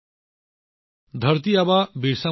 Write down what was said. আমি ধৰতি আবা বিৰচা মুণ্ডাৰ পৰা বহু কথা শিকিব পাৰো